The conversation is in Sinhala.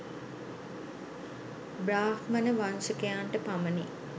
බ්‍රාහ්මණ වංශිකයන්ට පමණි.